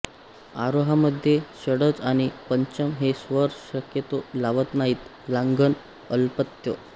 आरोहामध्ये षड्ज आणि पंचम हे स्वर शक्यतो लावत नाहीत लांघन अल्पत्व